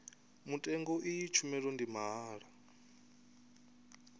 mutengo iyi tshumelo ndi mahala